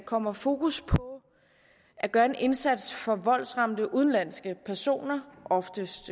kommer fokus på at gøre en indsats for voldsramte udenlandske personer oftest